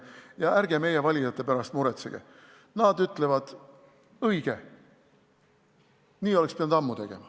Ja ärge meie valijate pärast muretsege, nad ütlevad, et õige, nii oleks pidanud ammu tegema.